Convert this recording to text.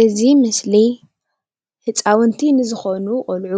እዚ ምስሊ ህፃውንቲ ንዝኮኑ ቆልዑ